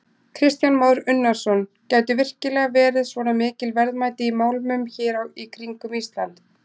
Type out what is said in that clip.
Kristján Már Unnarsson: Gætu virkilega verið svona mikil verðmæti í málmum hér í kringum Ísland?